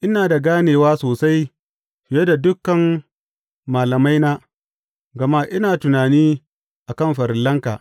Ina da ganewa sosai fiye da dukan malamaina, gama ina tunani a kan farillanka.